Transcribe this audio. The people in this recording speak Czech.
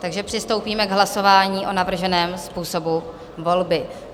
Takže přistoupíme k hlasování o navrženém způsobu volby.